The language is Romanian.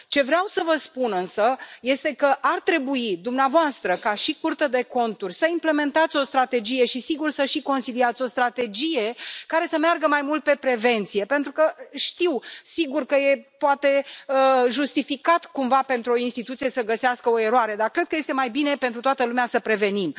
Ce vreau să vă spun, însă, este că ar trebui dumneavoastră, ca și Curte de Conturi, să implementați o strategie și sigur, să și consiliați o strategie care să meargă mai mult pe prevenție pentru că știu, sigur că e poate justificat cumva pentru o instituție să găsească o eroare, dar cred că este mai bine pentru toată lumea să prevenim.